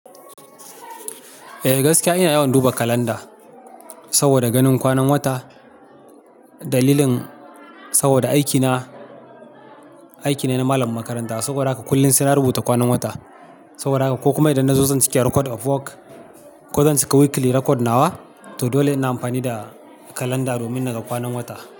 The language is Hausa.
Eh gaskiya ina yawan duba kalanda saboda ganin kwanan wata. Dalilin saboda aikina, aiki ne na malam makaranta. Saboda haka kullum suna rubuta kwanan wata. Saboda haka ko kuma idan na zo zan cika record of work ko zan cika weekly record nawa. To dole ina amfani da kalanda domin naga kwanan wata.